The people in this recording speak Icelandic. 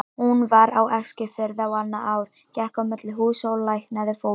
Hún var á Eskifirði á annað ár, gekk á milli húsa og læknaði fólk.